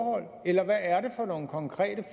nogen konkrete